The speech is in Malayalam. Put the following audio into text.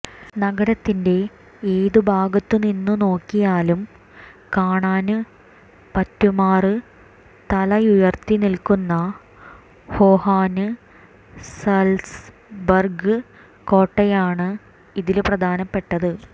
നഗരത്തിന്റെ ഏതു ഭാഗത്തുനിന്ന് നോക്കിയാലും കാണാന് പറ്റുമാറ് തലയുയര്ത്തിനില്ക്കുന്ന ഹോഹന്സാല്സ്ബര്ഗ് കോട്ടയാണ് ഇതില് പ്രധാനപ്പെട്ടത്